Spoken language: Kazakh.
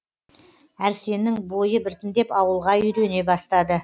әрсеннің бойы біртіндеп ауылға үйрене бастады